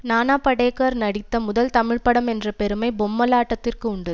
நானா படேகர் நடித்த முதல் தமிழ்ப்படம் என்ற பெருமை பொம்மலாட்டத்திற்கு உண்டு